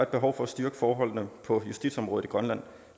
behov for at styrke forholdene på justitsområdet i grønland